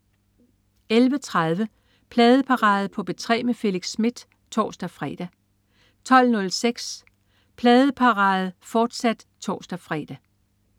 11.30 Pladeparade på P3 med Felix Smith (tors-fre) 12.06 Pladeparade på P3 med Felix Smith, fortsat (tors-fre)